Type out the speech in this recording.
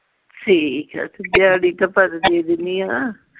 ਠੀਕ ਆ ਤੇ ਦਿਆੜੀ ਦੇ ਦੇਣੀ ਆਂ।